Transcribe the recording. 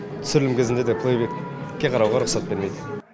түсірілім кезінде де тіке қарауға рұқсат бермейді